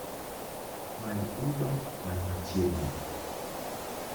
Many uber man machiegni